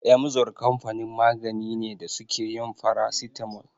Emzor kamfanin magani ne da suke yin farasitamol.